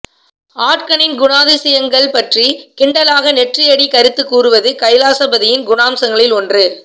ஆட்களின் குணாதிசயங்கள் பற்றி கிண்டலாக நெற்றியடிக் கருத்துக் கூறுவது கைலாசபதியின் குணாம்சங்களில் ஒன்று